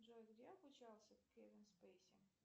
джой где обучался кевин спейси